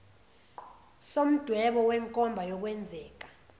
somdwebo wenkomba yokwenzeka